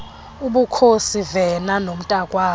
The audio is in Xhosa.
ubukhosi vena nomntakwabo